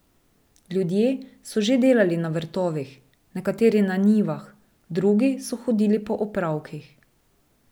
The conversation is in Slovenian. Ljudje so že delali na vrtovih, nekateri na njivah, drugi so hodili po opravkih.